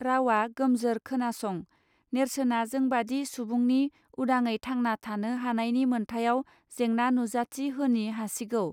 रावा गोमजोर खोनासं, नेर्सोना जोंबादि सुबुंनि उदाङै थांना थानो हानायनि मोन्थायाव जेंना नुजाथि होनी हासिगौ